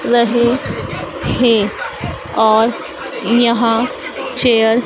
रहे थे और यहां चेयर --